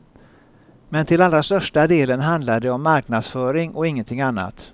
Men till allra största delen handlar det om marknadsföring och ingenting annat.